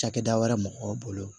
Cakɛda wɛrɛ mɔgɔw bolo